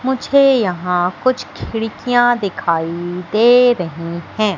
मुझे यहां कुछ खिड़कियां दिखाई दे रहे हैं।